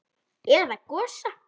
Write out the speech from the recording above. Eða Gosa?